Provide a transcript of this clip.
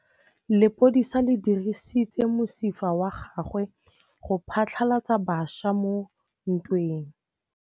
Lepodisa le dirisitse mosifa wa gagwe go phatlalatsa batšha mo ntweng.